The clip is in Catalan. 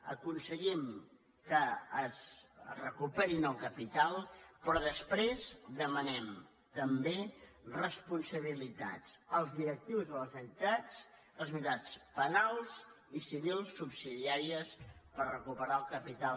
aconse·guim que recuperin el capital però després demanem també responsabilitats als directius de les entitats responsabilitats penals i civils subsidiàries per recu·perar el capital